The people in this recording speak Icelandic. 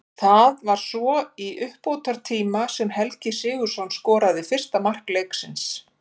Það var svo í uppbótartíma sem Helgi Sigurðsson skoraði fyrsta mark leiksins.